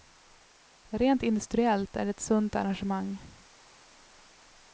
Rent industriellt är det ett sunt arrangemang.